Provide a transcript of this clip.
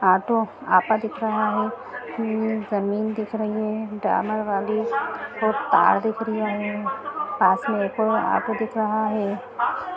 Auto आता दिख रहा हैं हम्म जमीन दिख रही हैं ड्रामर वाली और तार दिख रही हैं पास में एक और ऑटो दिख रहा हैं।